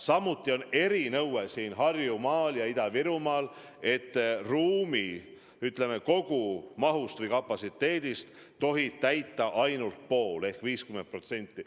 Samuti on erinõue Harjumaal ja Ida-Virumaal, et ruumi kogumahust või kapatsiteedist tohib täita ainult poole ehk 50%.